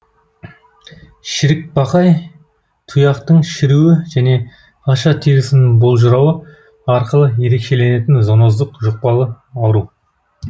шірікбақай тұяқтың шіруі және аша терісінің болжырауы арқылы ерекшеленетін зоноздық жұқпалы ауру